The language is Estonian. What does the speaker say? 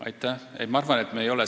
Aitäh!